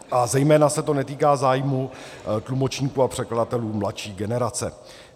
A zejména se to netýká zájmu tlumočníků a překladatelů mladší generace.